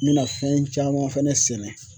N mɛna fɛn caman fɛnɛ sɛnɛ.